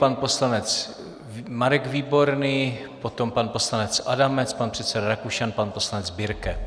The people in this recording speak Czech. Pan poslanec Marek Výborný, potom pan poslanec Adamec, pan předseda Rakušan, pan poslanec Birke.